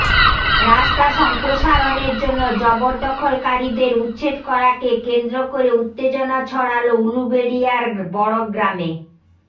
রাস্তা সম্প্রসারণের জন্য জবরদখলকারীদের উচ্ছেদ করাকে কেন্দ্র করে উত্তেজনা ছড়াল উলুবেড়িয়ার বড়গ্রামে